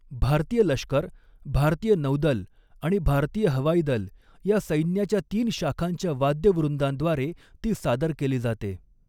भारतीय लष्कर, भारतीय नौदल आणि भारतीय हवाईदल, या सैन्याच्या तीन शाखांच्या वाद्यवृंदांद्वारे ती सादर केली जाते.